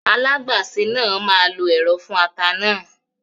Alágbàsè náà máa lo ẹ̀rọ fún ata náà